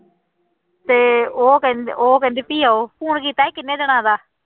ਤੇ ਉਹ ਕਹਿੰਦ ਉਹ ਕਹਿੰਦੇ ਵੀ ਆਓ phone ਕੀਤਾ ਸੀ ਕਿੰਨੇ ਦਿਨਾਂ ਦਾ